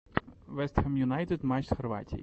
вест хэм юнайтед матч с хорватией